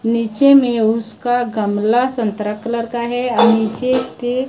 नीचे में उसका गमला संतरा कलर का है और नीचे के--